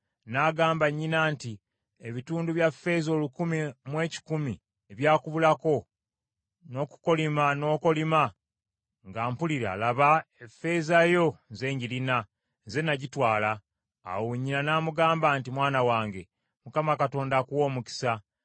N’agamba nnyina nti, “Ebitundu bya ffeeza olukumi mu ekikumi ebyakubulako, n’okukolima n’okolima, nga mpulira, laba, effeeza eyo nze njirina. Nze nagitwala.” Awo nnyina n’amugamba nti, “Mwana wange, Mukama Katonda akuwe omukisa.”